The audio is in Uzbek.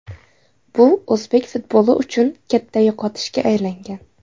Bu o‘zbek futboli uchun katta yo‘qotishga aylangan.